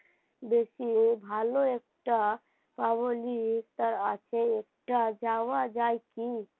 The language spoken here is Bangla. বেশি ভালো একটা পাওনি তার আগে একটা যাওয়া যায় কি,